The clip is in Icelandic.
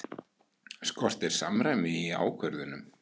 Skortir samræmi í ákvörðunum